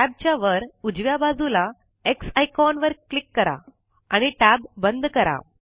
tab च्या वर उजव्या बाजूला एक्स आयकोन वर क्लिक करा आणि टैब बंद करा